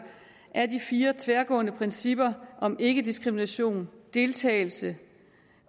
fire tværgående principper om ikkediskrimination deltagelse